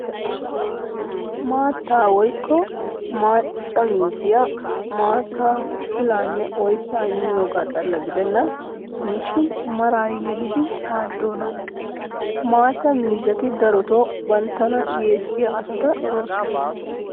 Maata woykko macca miizzay maattaa, pilaanne oyssaa immiyooga xalla gidennan diishin maraa yelidi maaddoona. Maatta miizzati darotoo banttana yeessiyaa asata eroosona.